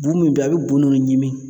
Bun min bɛ yen a bɛ bu ninnu ɲimi.